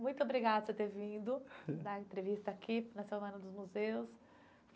Muito obrigada por você ter vindo dar a entrevista aqui na semana dos museus.